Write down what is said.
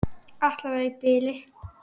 Alla vega í bili.